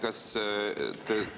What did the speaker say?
Aitäh!